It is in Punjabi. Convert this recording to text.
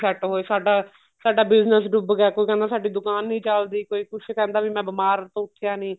set ਹੋਏ ਸਾਡਾ ਸਾਡਾ business ਡੁੱਬ ਗਿਆ ਕੋਈ ਕਹਿੰਦਾ ਸਾਡੀ ਦੁਕਾਨ ਨਹੀਂ ਚੱਲਦੀ ਕੋਈ ਕਰਦਾ ਵੀ ਮੈਂ ਬੀਮਾਰ ਤੋਂ ਉੱਠਿਆ ਨੀ